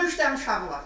Mırda üç dənə uşağı var.